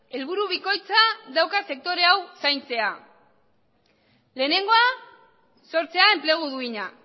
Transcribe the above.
helburu bikoitza dauka sektore hau zaintzea lehenengoa sortzea enplegu duina